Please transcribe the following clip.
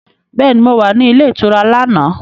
Bẹ́ẹ̀ni, mo wà ní ilé ìtura lánàá